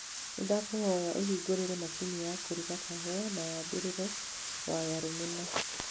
Nĩ ngũkũhoya ũhingũre macini ya kũruga kahũa na wambĩrĩrie wyre rũmena